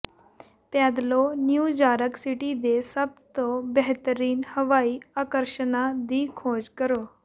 ਪੈਦਲੋਂ New York city ਦੇ ਸਭ ਤੋਂ ਬਿਹਤਰੀਨ ਹਵਾਈ ਆਕਰਸ਼ਣਾਂ ਦੀ ਖੋਜ ਕਰੋ